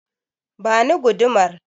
Ba ni gudumar!